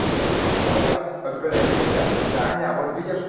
бадя бадя даня вот